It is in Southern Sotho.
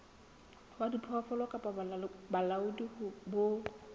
wa diphoofolo kapa bolaodi bo